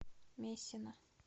мессина